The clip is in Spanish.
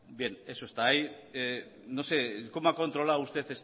bien eso está ahí no sé cómo ha controlado usted